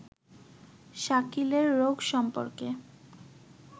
শাকিলের রোগ সম্পর্কে